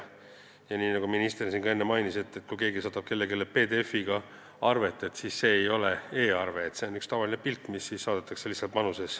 Nii nagu minister siin enne mainis, kui keegi saadab kellelegi PDF-arve, siis see ei ole e-arve, see on üks tavaline pilt, mis saadetakse manuses.